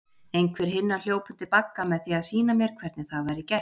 Einhver hinna hljóp undir bagga með því að sýna mér hvernig það væri gert.